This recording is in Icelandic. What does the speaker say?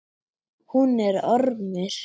Hún er ormur.